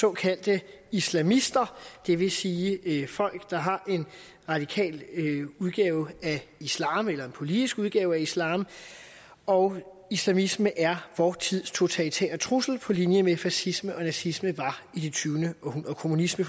såkaldte islamister det vil sige folk der har en radikal udgave af islam eller en politisk udgave af islam og islamisme er vort tids totalitære trussel på linje med fascisme nazisme og kommunisme